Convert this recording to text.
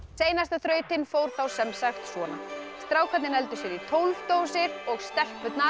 seinasta þrautin fór þá sem sagt svona strákarnir negldu sér í tólf dósir og stelpurnar